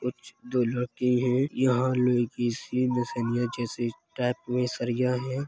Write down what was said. कुछ यहाँ दो लड़की हैं । यहाँ लड़की सी जैसी टाइप में सरिया हैं ।